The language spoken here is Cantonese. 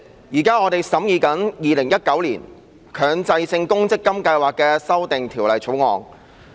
主席，我們現正審議《2019年強制性公積金計劃條例草案》。